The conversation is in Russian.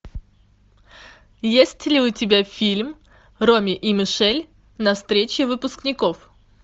есть ли у тебя фильм роми и мишель на встрече выпускников